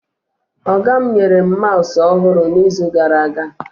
Ọga mụ nyere mụ maụsụ ọhụrụ na izu gara aga